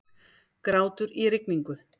Grátur í rigningu.